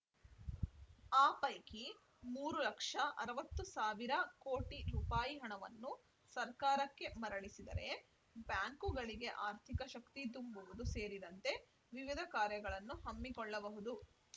ಆ ಪೈಕಿ ಮೂರು ಲಕ್ಷ ಅರವತ್ತು ಸಾವಿರ ಕೋಟಿ ರೂಪಾಯಿಗಳನ್ನು ಹಣವನ್ನು ಸರ್ಕಾರಕ್ಕೆ ಮರಳಿಸಿದರೆ ಬ್ಯಾಂಕುಗಳಿಗೆ ಆರ್ಥಿಕ ಶಕ್ತಿ ತುಂಬುವುದು ಸೇರಿದಂತೆ ವಿವಿಧ ಕಾರ್ಯಗಳನ್ನು ಹಮ್ಮಿಕೊಳ್ಳಬಹುದು